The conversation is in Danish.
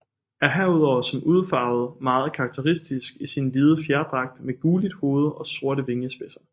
Er herudover som udfarvet meget karakteristisk i sin hvide fjerdragt med gulligt hoved og sorte vingespidser